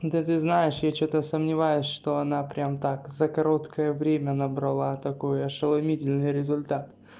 да ты знаешь я что-то сомневаюсь что она прям так за короткое время набрала такой ошеломительный результат